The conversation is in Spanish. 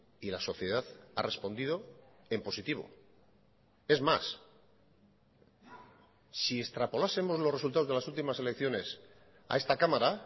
y la sociedad ha respondido en positivo es más si extrapolásemos los resultados de las ultimas elecciones a esta cámara